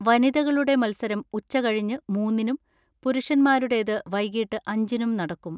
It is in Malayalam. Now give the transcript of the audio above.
വനിതകളുടെ മത്സരം ഉച്ചകഴിഞ്ഞ് മൂന്നിനും പുരുഷന്മാരുടേത് വൈകിട്ട് അഞ്ചിനും നടക്കും.